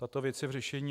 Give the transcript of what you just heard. Ta věc je v řešení.